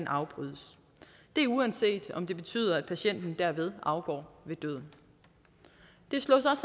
afbrydes det uanset om det betyder at patienten dermed afgår ved døden det slås